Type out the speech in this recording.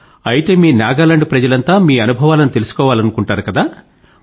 అయితే మీ నాగాలాండ్ ప్రజలంతా మీ అనుభవాలను తెలుసుకోవాలనుకుంటారు కదా